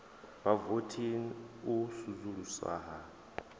vhavothi na u vusuluswa ha